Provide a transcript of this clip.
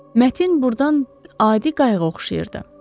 Matin burdan adi qayığa oxşayırdı.